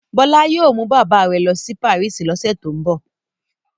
Bọ́lá yóò mú bàbá rẹ̀ lọ sí Paris lọ́sẹ̀ tó ń bọ̀.